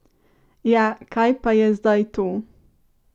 Ja, kaj pa je zdaj to?